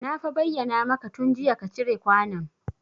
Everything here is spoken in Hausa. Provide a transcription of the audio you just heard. Na fa bayyana maka tun jiya ka cire kwanon